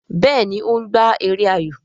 Béèni o ń gbà èrè ayọ.